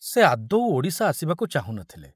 ସେ ଆଦୌ ଓଡ଼ିଶା ଆସିବାକୁ ଚାହୁଁ ନ ଥିଲେ।